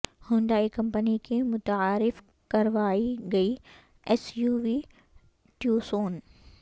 Hyundai company کی متعارف کروائی گئی ایس یو وی ٹیوسون